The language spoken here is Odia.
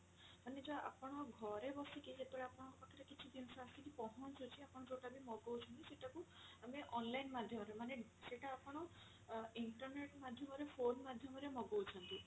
ମାନେ ଯଉ ଆପଣ ଘରେ ବସିକି ଯେତେବେଳେ ଆପଣଙ୍କ ପାଖ ରେ କିଛି ଜିନିଷ ଆସିକି ପହଞ୍ଚୁଛି ଆପଣ ଯଉଟା ବି ମଗଉଛନ୍ତି ସେଟା କୁ ଆମେ online ମାଧ୍ୟମ ରେ ମାନେ ସେଟା ଆପଣ internet ମାଧ୍ୟମ ରେ phone ମାଧ୍ୟମ ରେ ମଗଉଛନ୍ତି